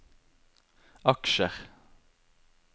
aksjer